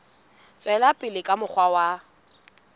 tswela pele ka mokgwa wa